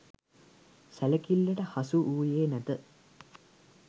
සැලකිල්ලට හසුවූයේ නැත.